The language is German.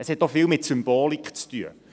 Es hat auch viel mit Symbolik zu tun.